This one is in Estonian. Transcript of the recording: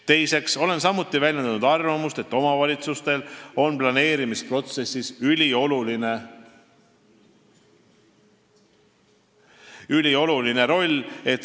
Teiseks olen samuti väljendanud arvamust, et omavalitsustel on planeerimisprotsessis ülioluline roll.